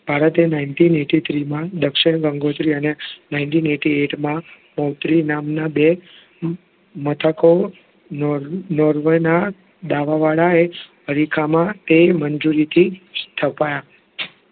ભારતે nineteen eighty three માં દક્ષિણ ગંગોત્રી અને nineteen eighty eight ગોત્રી નામનાં બે મથકો નૉર્વેનાં દાવાવાળા એ હરિખામાં તે મંજૂરીથી સ્થપાયા